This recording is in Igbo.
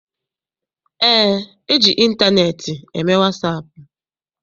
Eé, eji ịntaneetị eme wasaapụ.